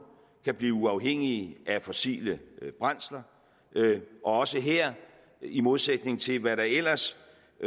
kan blive uafhængigt af fossile brændsler og også her i modsætning til hvad der ellers